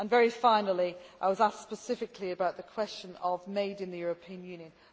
Very finally, I was asked specifically about the question of made in the European Union'.